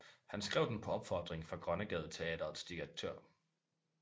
Han skrev den på opfordring fra Grønnegadeteatrets direktør